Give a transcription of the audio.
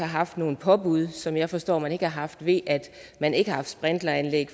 haft nogle påbud som jeg forstår man ikke har haft ved at man ikke har haft sprinkleranlæg